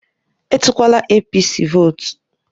Etukwala APC votu